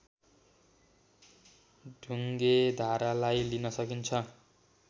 ढुङ्गेधारालाई लिन सकिन्छ